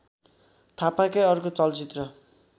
थापाकै अर्को चलचित्र